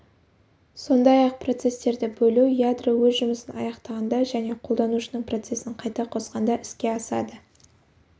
сондай-ақ процестерді бөлу ядро өз жұмысын аяқтағанда және қолданушының процесін қайта қосқанда іске асады